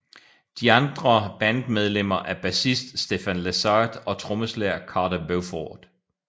De andre bandlemmer er bassist Stefan Lessard og trommeslager Carter Beauford